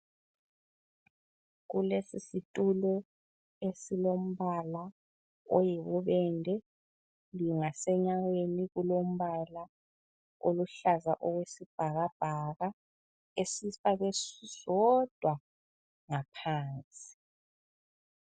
Kulesisitulo esilombala oyibubende ngasenyaweni kulombala oluhlaza okuyisibhakabhaka esifakwe sodwa ngaphansi.